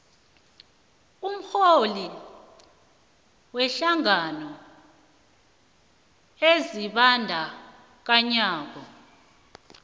umrholi wehlangano ezibandakanyako